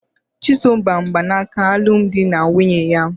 Chisom gba mgbanaka alum di na nwunye ya